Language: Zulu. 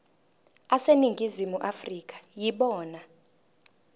aseningizimu afrika yibona